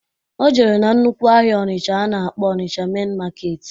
O jere na nnukwu ahịa Ọnisha a na-akpọ Ọnisha mein maketi